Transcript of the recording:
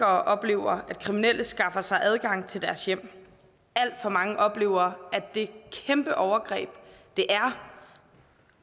oplever at kriminelle skaffer sig adgang til deres hjem alt for mange oplever det kæmpe overgreb det er